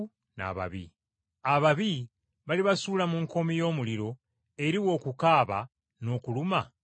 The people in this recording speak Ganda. Ababi balibasuula mu nkoomi y’omuliro eriba okukaaba n’okuluma obujiji.”